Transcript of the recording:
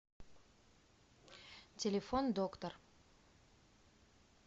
телефон доктор